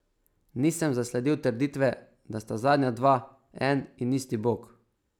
Nisem zasledil trditve, da sta zadnja dva en in isti bog.